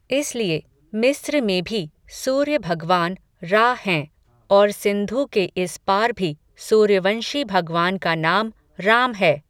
इसलिए, मिस्र में भी, सूर्य भगवान, रा हैं, और सिंधु के इस पार भी, सूर्यवंशी भगवान का नाम, राम है